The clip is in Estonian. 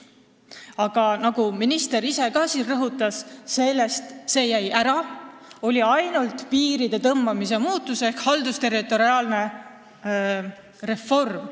Aga nagu minister ise ka rõhutas, see on ära jäänud, on olnud ainult piiride muutus ehk haldusterritoriaalne reform.